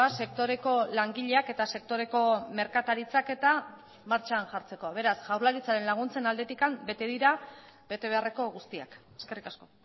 sektoreko langileak eta sektoreko merkataritzak eta martxan jartzeko beraz jaurlaritzaren laguntzen aldetik bete dira betebeharreko guztiak eskerrik asko